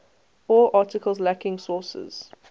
all articles lacking sources